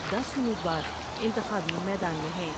د س امید وار انتخابی میدان میں ہیں ۔